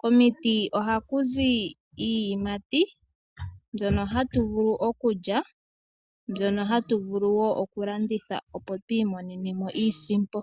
Komiti ohaku zi iiyimati mbyono hatu vulu okulya , mbyono hatu vulu wo oku landitha opo tu imone nemo iisimpo.